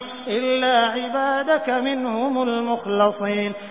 إِلَّا عِبَادَكَ مِنْهُمُ الْمُخْلَصِينَ